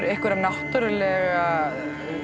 einhverja náttúrulega